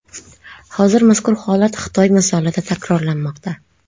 Hozir mazkur holat Xitoy misolida takrorlanmoqda.